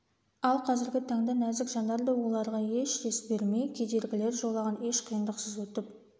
ал қазіргі таңда нәзік жандар да оларға еш дес бермей кедергілер жолағын еш қиындықсыз өтіп